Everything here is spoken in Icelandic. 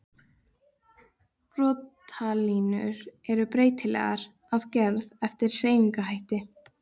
Brotalínur eru breytilegar að gerð eftir hreyfingarhætti.